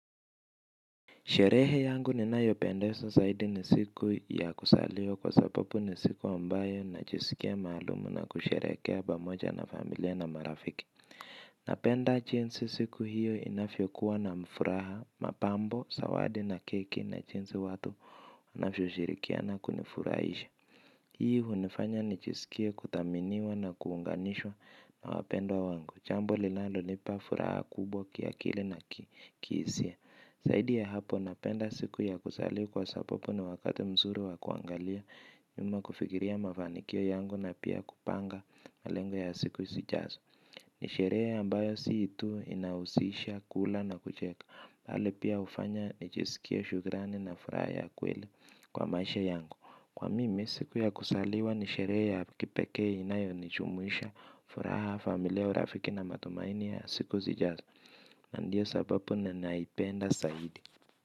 Sherehe yangu ni nayo pendezwa zaidi ni siku ya kuzaliwa kwa sababu ni siku ambayo najisikia maalumu na kusherehekea pamoja na familia na marafiki. Napenda jinsi siku hiyo inavyo kuwa na mfuraha, mapambo, zawadi na keki na jinsi watu wanavyo shirikiana kunifurahisha. Hii hunifanya nijiskie kuthaminiwa na kuunganishwa na wapendwa wangu. Jambo lilano nipa furaha kubwa kiakili na kihisia. Zaidi ya hapo napenda siku ya kusaliwa kwa sababu ni wakati mzuri wa kuangalia nyuma kufikiria mafanikio yangu na pia kupanga malengo ya siku zijazo. Nisherehe ambayo si tu inahusisha kula na kucheka bali pia hufanyanijisikiea shukrani na furaha ya kweli kwa maisha yangu. Kwa mimi siku ya kusaliwa nisherehe ya kipekee inayo nijumuisha furaha familia urafiki na matumaini ya siku zijazo. Ndio sababu ni naipenda zaidi.